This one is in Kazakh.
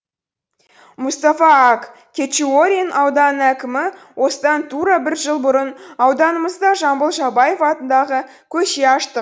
мұстафа ак кечиорен ауданының әкімі осыдан тура бір жыл бұрын ауданымызда жамбыл жабаев атындағы көше аштық